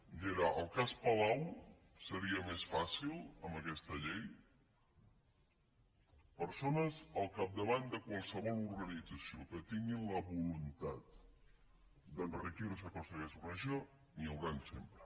i era el cas palau seria més fàcil amb aquesta llei de persones al capdavant de qualsevol organització que tinguin la vo·luntat d’enriquir·se a costa d’aquesta organització n’hi hauran sempre